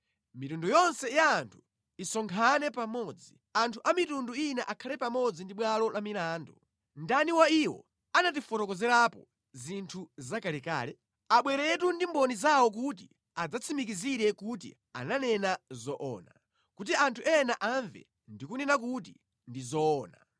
Mitundu yonse ya anthu isonkhane pamodzi, anthu a mitundu ina akhale pamodzi pabwalo la milandu. Ndani wa iwo amene ananeneratu zimenezi? Ndani wa iwo anatifotokozerapo zinthu zakalekale? Abweretu ndi mboni zawo kuti adzatsimikizire kuti ananena zoona, kuti anthu ena amve ndi kunena kuti, “Ndi zoona.”